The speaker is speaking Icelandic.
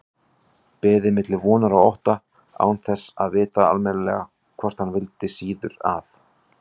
Beið milli vonar og ótta, án þess að vita almennilega hvort hann vildi síður að